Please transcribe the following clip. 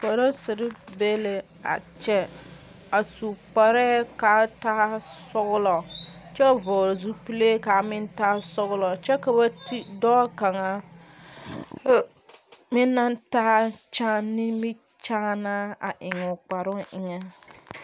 Polisere be la a kyɛ. A su kpareɛ kaa taa sɔglɔ kyɛ vogle zupule ka a meŋ taa sɔglɔ kyɛ ka ba te doɔ kanga meŋ na taa kyaa nimikyaana a eŋ o kparoŋ eŋe.